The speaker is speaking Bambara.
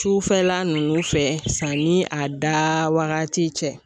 Sufɛla ninnu fɛ sanni a da wagati cɛ